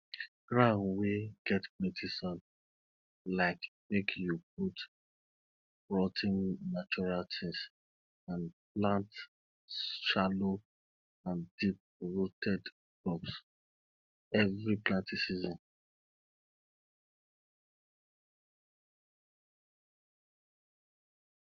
ground wey get plenti sand like make you put rot ten natural tins and plant shallow and deep rooted crops every planting season